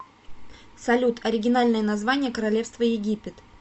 салют оригинальное название королевство египет